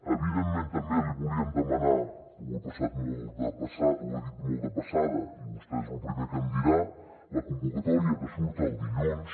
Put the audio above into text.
evidentment també li volíem demanar per ho he dit molt de passada i vostè és lo primer que em dirà la convocatòria que surt el dilluns